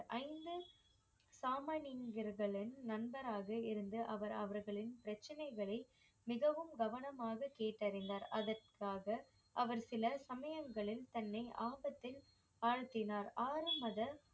ஐந்து சாமானியர்களின் நண்பராக இருந்து அவர் அவர்களின் பிரச்சனைகளை மிகவும் கவனமாக கேட்டறிந்தார் அதற்காக அவர் சில சமயங்களில் தன்னை ஆபத்தில் ஆழ்த்தினார் ஆறு மத